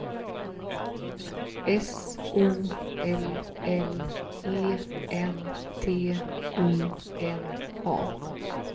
S O L L E N T U N A